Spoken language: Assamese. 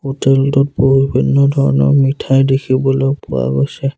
হোটেল টোত বহু ভিন্ন ধৰণৰ মিঠাই দেখিবলৈ পোৱা গৈছে।